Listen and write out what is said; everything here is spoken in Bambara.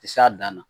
Ti s'a dan na